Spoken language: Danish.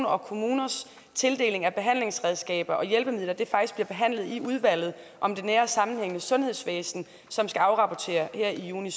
og kommunernes tildeling af behandlingsredskaber og hjælpemidler faktisk bliver behandlet i udvalget om det nære og sammenhængende sundhedsvæsen som skal afrapportere her i juni